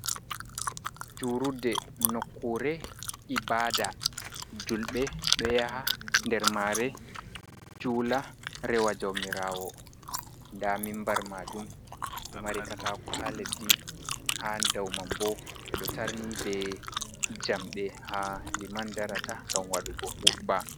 Juuludde nokkuure ibaada, juulɓe ɗo yaha nder mare juula rewa jauwmiraawo, nda mimbar maajum ɗo mari katako haa leddi, haa daman boo ɓeɗo o tarni bee jamɗe, haa liman darata ngam waɗugo hutba.